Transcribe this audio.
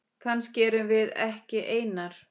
Kannski erum við ekki einar.